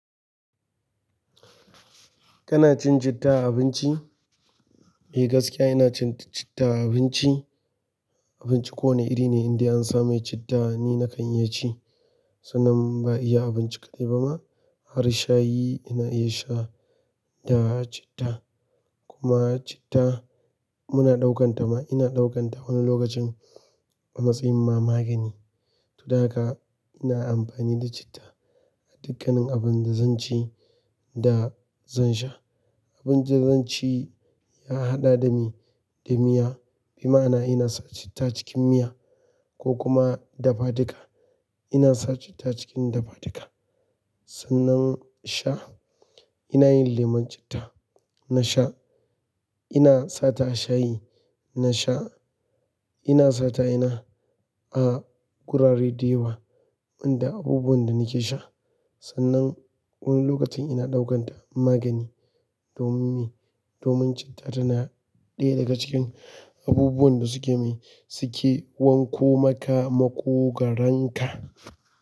Kana cin citta a abinci? Eh gaskiya ina cin citta a abinci. Abinci ko wane iri ne inda an sa mai citta ni nakan iya ci. Sannan ba iya abinci kaɗai ba ma, har shayi ina iya sha da citta. Kuma citta muna ɗaukan ta ma wani lokacin a matsayin ma magani. To da haka ina amfani da citta a dukkanin abin da zan ci da zan sha. Abincin da zan ci ya haɗa da mi da miya, bi ma'ana ina sa citta cikin miya ko kuma dafa-duka ina sa citta cikin dafa-duka. Sannan sha ina yin lemun citta na sha, ina sata shayi na sha, ina sata ina a gurare da yawa, wanda abubuwan da nake sha. Sannan wani lokacin ina ɗaukan ta magani, don me, domin citta tana ɗaya daga cikin abubuwan da suke, suke wanko maka makogoronka.